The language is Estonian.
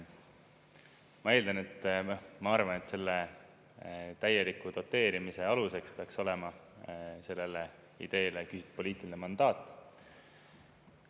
Ma eeldan, ma arvan, et selle täieliku doteerimise aluseks peaks olema sellele ideele küsitud poliitiline mandaat.